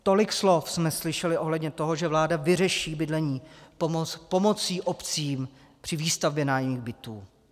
Tolik slov jsme slyšeli ohledně toho, že vláda vyřeší bydlení pomocí obcím při výstavbě nájemních bytů.